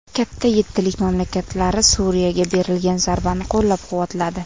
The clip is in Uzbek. Katta yettilik mamlakatlari Suriyaga berilgan zarbani qo‘llab-quvvatladi.